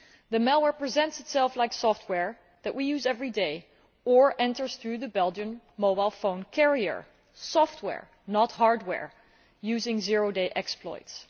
The malware presents itself like software that we use every day or enters through the Belgian mobile phone carrier software not hardware using zero day exploits.